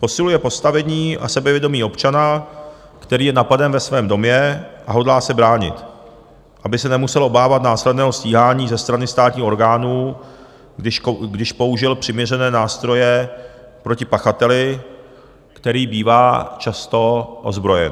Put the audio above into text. Posiluje postavení a sebevědomí občana, který je napaden ve svém domě a hodlá se bránit, aby se nemusel obávat následného stíhání ze strany státních orgánů, když použil přiměřené nástroje proti pachateli, který bývá často ozbrojen.